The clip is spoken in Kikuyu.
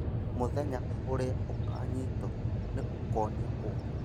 Mũthenya ũrĩa ũkanyitwo nĩ ũkonio ũũru